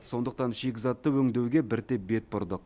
сондықтан шикізатты өңдеуге бірте бет бұрдық